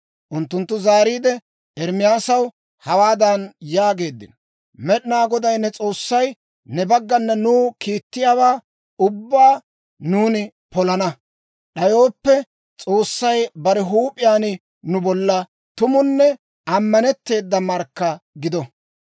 Unttunttu zaariide, Ermaasaw hawaadan yaageeddino; «Med'inaa Goday ne S'oossay ne baggana nuw kiittiyaawaa ubbaa nuuni polana d'ayooppe, S'oossay bare huup'iyaan nu bolla tumunne ammanetteeda markka gido.